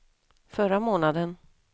förra månaden